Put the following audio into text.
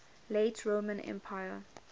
late roman empire